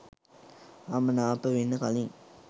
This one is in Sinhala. අමනාප වෙන්න කලිං